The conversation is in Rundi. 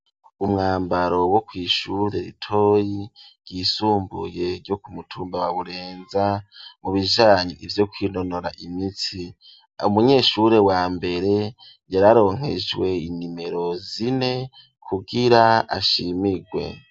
Umwambaro wo kw'ishure ritoyi ryisumbuye ryo kumutumba wa Burenza mu bijanye ivyo kwinonora imitsi umunyeshuri wa mbere yararonkejwe inimero zine kugira ashimirwe.